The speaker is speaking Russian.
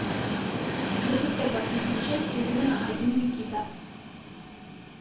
запускай последнюю часть сезона один никита